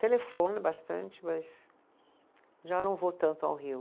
Telefono bastante, mas já não vou tanto ao Rio.